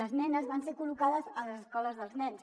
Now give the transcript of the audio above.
les nenes van ser col·locades a les escoles dels nens